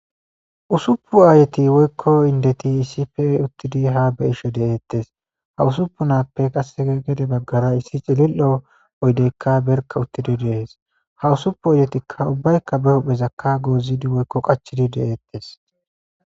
usupu aayeti woykko indeti issife uttidi ha be ishe de7eettes ha usuppunappe qass gede baggara issi cilil7o oydeykka berka uttidi deees ha usuppu odetikka ubbaykka be huphezakka goozidi woykko qachidi deeettes